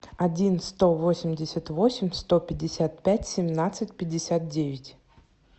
один сто восемьдесят восемь сто пятьдесят пять семнадцать пятьдесят девять